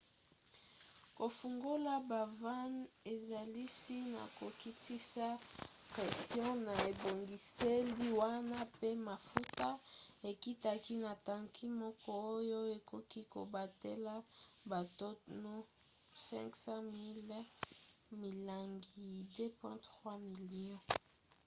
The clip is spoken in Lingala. kofungola bavannes esalisi na kokitisa pression na ebongiseli wana mpe mafuta ekitaki na tanki moko oyo ekoki kobatela batono 55 000 milangi 2,3 million